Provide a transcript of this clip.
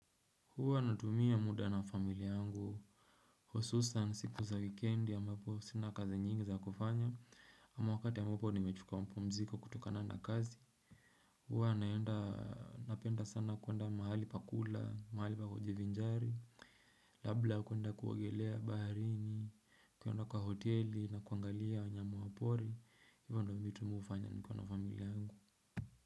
Huwa natumia muda na familia yangu. Hususan siku za wikendi ambapo sina kazi nyingi za kufanya. Ama wakati ambapo nimechuka mapumziko kutokana na kazi. Huwa naenda napenda sana kuenda mahali pakula, mahali pa kujivinjari. Labla kuenda kuogelea baharini, kuenda kwa hoteli na kuangalia wanyama wa pori. Hivyo ndo vitu mimi hufanya nikiwa na familia yangu.